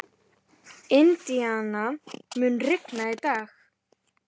Indíana, mun rigna í dag?